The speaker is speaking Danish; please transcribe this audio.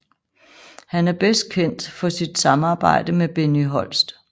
Han er bedst kendt for sit samarbejde med Benny Holst